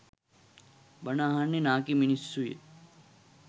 බණ අහන්නෙ නාකි මිනිස්සුය